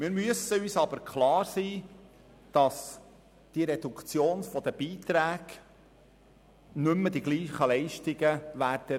Wir müssen uns aber im Klaren sein, dass die Reduktion der Beiträge nicht mehr zu den gleichen Leistungen führen wird.